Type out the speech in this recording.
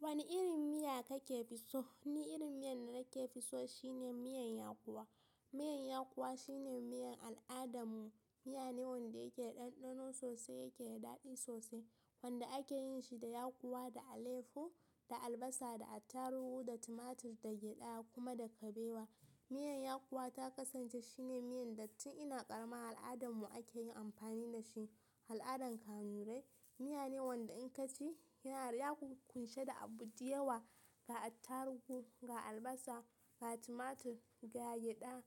Wani irin miya kika fi so? Ni irin miyan da nake fi so shine miyan yakuwa. Miyar yakkuwa shine miyar al'adarmu. Miya ne wanda yake da ɗanɗano sosai, yake da daɗi sosai. Wanda ake yin shi da yakuwa, da alefo, da albasa, da attaruhu, da tumatur, da gyada kuma da kabewa. Miyan yakkuwa ta kasance shine miyan da tun ina ƙarama al'adanmu ake yin amfani da shi. Al'adan Kanurai. Miya ne wanda in ka ci yana ƙunshe da abu da yawa. Ga attaruhu, ga albasa, ga tumatur, ga gyada,